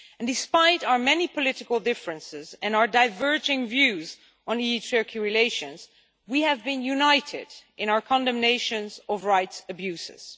Despite our many political differences and our diverging views on EU-Turkey relations, we have been united in our condemnation of rights abuses.